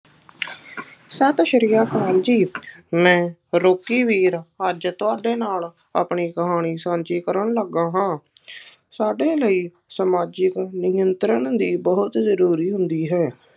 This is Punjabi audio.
ਸਤਿ ਸ੍ਰੀ ਅਕਾਲ ਜੀ, ਮੈਂ ਰੋਕੀਵੀਰ ਅੱਜ ਤੁਹਾਡੇ ਨਾਲ ਆਪਣੀ ਕਹਾਣੀ ਸਾਂਝੀ ਕਰਨ ਲੱਗਾ ਹਾਂ, ਸਾਡੇ ਲਈ ਸਮਾਜਿਕ ਨਿਯੰਤਰਣ ਵੀ ਬਹੁਤ ਜ਼ਰੂਰੀ ਹੁੰਦੀ ਹੈ,